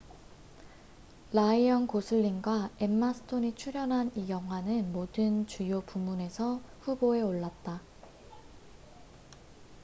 라이언 고슬링과 엠마 스톤이 출연한 이 영화는 모든 주요 부문에서 후보에 올랐다